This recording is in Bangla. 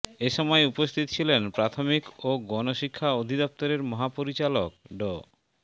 এ সময় উপস্থিত ছিলেন প্রাথমিক ও গণশিক্ষা অধিদপ্তরের মহাপরিচালক ড